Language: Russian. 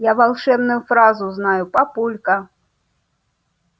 я волшебную фразу знаю папулька